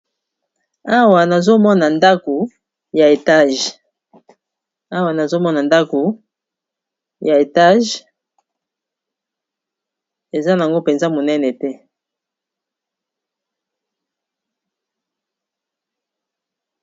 awa nazomona ndako ya etage eza nango mpenza monene te